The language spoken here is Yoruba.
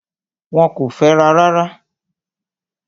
Wọ́n kò fẹ́ra rárá.